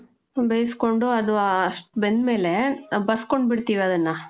ಬೇಸ್ಕೊಂಡು, ಅದು ಅಷ್ಟ್ ಬೆಂದ್ ಮೇಲೆ, ಬಸ್ಸ್ಕೊಂಡ್ ಬಿಡ್ತೀವಿ ಅದನ್ನ.